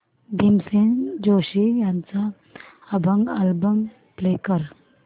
भीमसेन जोशी यांचा अभंग album play कर